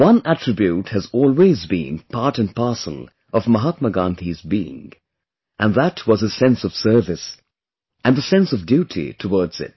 One attribute has always been part & parcel of Mahatma Gandhi's being and that was his sense of service and the sense of duty towards it